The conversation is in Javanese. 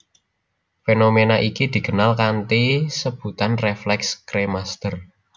Fenomena iki dikenal kanthi sebutan refleks kremaster